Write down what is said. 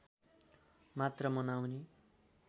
मात्र मनाउने